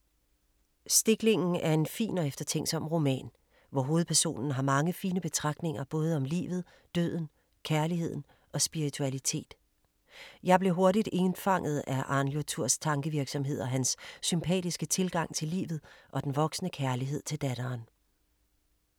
Stiklingen er en fin og eftertænksom roman, hvor hovedpersonen har mange fine betragtninger, både om livet, døden, kærligheden og spiritualitet. Jeg blev hurtigt indfanget af Arnljoturs tankevirksomhed og hans sympatiske tilgang til livet og den voksende kærlighed til datteren.